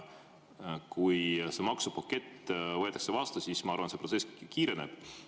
Kui see maksupakett võetakse vastu, siis ma arvan, et see protsess kiireneb.